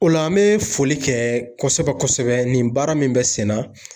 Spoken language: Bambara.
O la an bɛ foli kɛ kosɛbɛ kosɛbɛ nin baara min bɛ senna